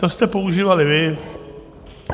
To jste používali vy.